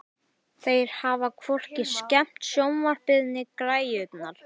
Þeir hafa hvorki skemmt sjónvarpið né græjurnar.